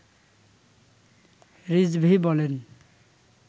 রিজভী বলেন